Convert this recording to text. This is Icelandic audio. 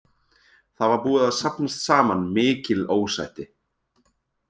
Það var búið að safnast saman mikil ósætti.